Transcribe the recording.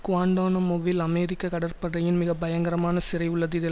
குவான்டானமொவில் அமெரிக்க கடற்படையின் மிகப்பயங்கரமான சிறை உள்ளது இதில்